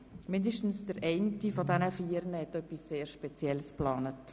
Mindestens einer hat etwas sehr Spezielles geplant.